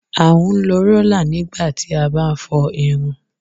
a ma n lo rola nigba ti a bá n fọ irun